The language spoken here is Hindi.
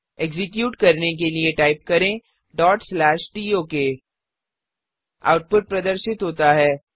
एक्सक्यूट करने के लिए टाइप करें tok आउटपुट प्रदर्शित होता है